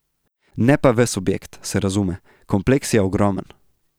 Ne pa ves objekt, se razume, kompleks je ogromen.